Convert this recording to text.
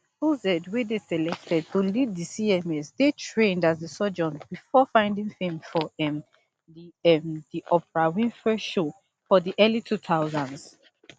oz wey dey selected to lead di cms dey trained as a surgeon bifor finding fame for um di um di oprah winfrey show for di early two thousands